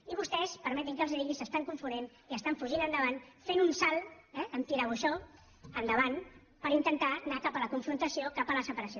i vostès permetin me que els ho digui s’estan confonent i estan fugint endavant fent un salt amb tirabuixó endavant per intentar anar cap a la confrontació cap a la separació